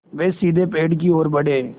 वे सीधे पेड़ की ओर बढ़े